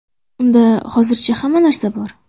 Unda hozircha hamma narsa bor.